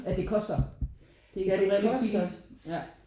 At det koster det som regel ikke særlig billigt